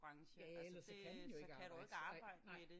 Ja ja ellers så kan man jo ikke arbejde